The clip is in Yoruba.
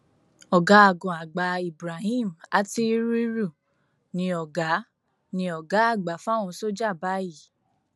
ọgágun àgbà ibrahim atiriru ni ọ̀gá ni ọ̀gá àgbà fáwọn sójà báyìí